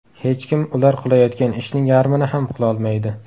Hech kim ular qilayotgan ishning yarmini ham qilolmaydi.